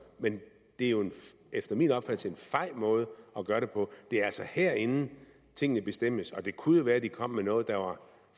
men det er efter min opfattelse en fej måde at gøre det på det er altså herinde tingene bestemmes og det kunne jo være de kom med noget der var